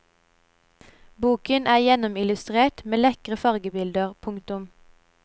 Boken er gjennomillustrert med lekre fargebilder. punktum